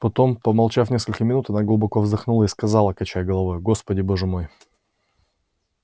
потом помолчав несколько минут она глубоко вздохнула и сказала качая головою господи боже мой